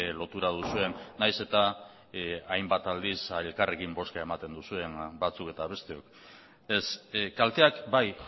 lotura duzuen nahiz eta hainbat aldiz elkarrekin bozka ematen duzuen batzuk eta besteok ez kalteak bai